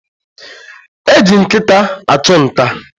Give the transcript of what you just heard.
Eji nkịta achụ nta.